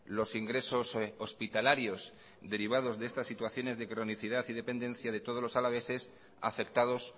los ingresos hospitalarios derivados de estas situaciones de cronicidad y dependencia de todos los alaveses afectados